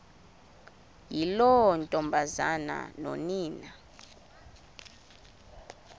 yiloo ntombazana nonina